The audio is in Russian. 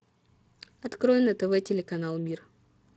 открой на тв телеканал мир